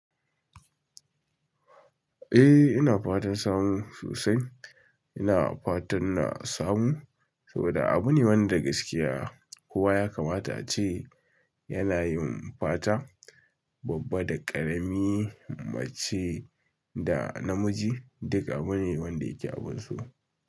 Eh, ina fatan samu sosai, ina fatan na samu, saboda abu ne wanda gaskiya kowa ya kamata a ce yana yin fata babba da ƙarami, mace da namiji, duk abu ne wanda yake abunsu.